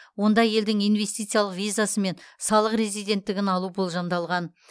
онда елдің инвестициялық визасы мен салық резиденттігін алу болжамдалған